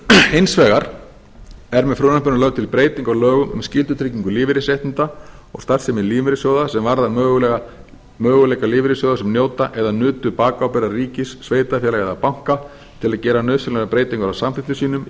hins vegar er með frumvarpinu lögð til breyting á lögum um skyldutryggingu lífeyrisréttinda og starfsemi lífeyrissjóða sem varðar möguleika lífeyrissjóða sem njóta eða nutu bakábyrgðar ríkis sveitarfélaga eða banka til að gera nauðsynlegar breytingar á samþykktum sínum í